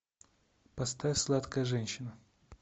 поставь сладкая женщина